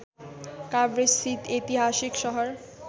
काभ्रेस्थित ऐतिहासिक सहर